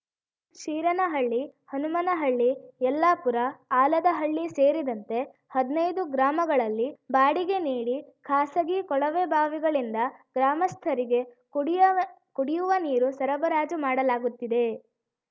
ಶೀರನಹಳ್ಳಿ ಹನುಮನಹಳ್ಳಿ ಯಲ್ಲಾಪುರ ಆಲದಹಳ್ಳಿ ಸೇರಿದಂತೆ ಹದ್ನೈದು ಗ್ರಾಮಗಳಲ್ಲಿ ಬಾಡಿಗೆ ನೀಡಿ ಖಾಸಗಿ ಕೊಳವೆಬಾವಿಗಳಿಂದ ಗ್ರಾಮಸ್ಥರಿಗೆ ಕುಡಿಯವ ಕುಡಿಯುವ ನೀರು ಸರಬರಾಜು ಮಾಡಲಾಗುತ್ತಿದೆ